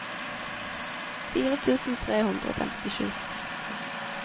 fire tusen tre hundre og femtisju